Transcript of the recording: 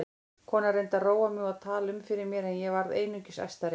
Konan reyndi að róa mig og tala um fyrir mér en ég varð einungis æstari.